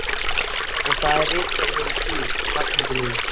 Og það er ritgerðin þín, Ragnhildur mín!